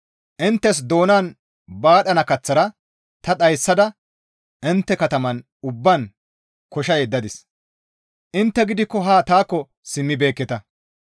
«Inttes doonan baadhana kaththara ta dhayssada intte katamatan ubbaan kosha yeddadis. Intte gidikko haa taakko simmibeekketa.